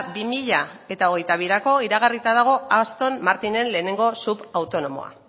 bi mila hogeita birako iragarrita dago aston martinen lehenengo subautonomoa